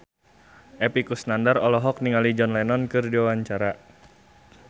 Epy Kusnandar olohok ningali John Lennon keur diwawancara